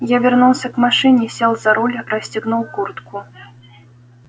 я вернулся к машине сел за руль расстегнул куртку